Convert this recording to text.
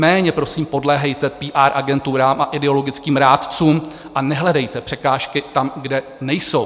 Méně prosím podléhejte PR agenturám a ideologickým rádcům a nehledejte překážky tam, kde nejsou.